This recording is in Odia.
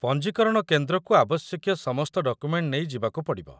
ପଞ୍ଜୀକରଣ କେନ୍ଦ୍ରକୁ ଆବଶ୍ୟକୀୟ ସମସ୍ତ ଡକୁମେଣ୍ଟ ନେଇ ଯିବାକୁ ପଡ଼ିବ